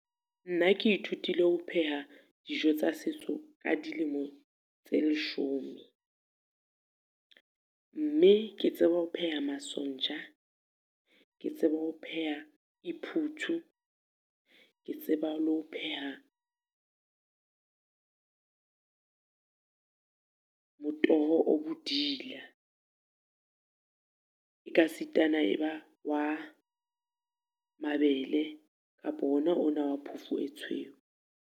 Nna ke ithutile ho pheha dijo tsa setso ka dilemo tse leshome. Mme ke tseba ho pheha masonja, ke tseba ho pheha iphuthu, ke tseba le ho pheha motoho o bodila. E ka sitana e ba wa mabele kapo ona o na wa phofu e tshweu.